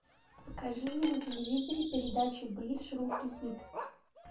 покажи мне на телевизоре передачу бридж русский хит